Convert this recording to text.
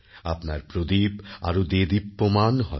আপনার প্রদীপ আরও দেদীপ্যমান হবে